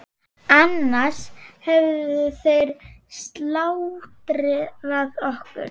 Annars hefðu þeir slátrað okkur.